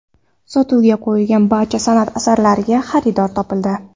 Sotuvga qo‘yilgan barcha san’at asarlariga xaridor topildi.